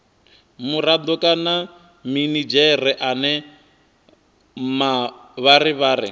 murado kana minidzhere ane mavharivhari